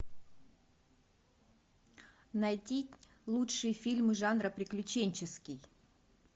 найти лучшие фильмы жанра приключенческий